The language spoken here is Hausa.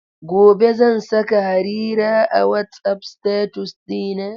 Gobe ​​zan saka Harira a WhatsApp status ɗina.